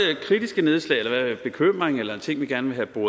kritiske nedslag eller bekymring eller en ting vi gerne vil